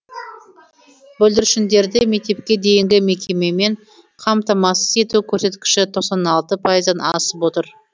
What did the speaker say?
бүлдіршіндерді мектепке дейінгі мекемемен қамтамасыз ету көрсеткіші тоқсан алты пайыздан асып отыр